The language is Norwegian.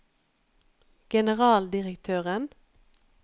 generaldirektøren